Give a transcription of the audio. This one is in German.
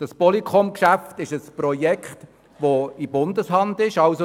Das POLYCOM-Geschäft ist ein Projekt, das in der Hand des Bundes liegt.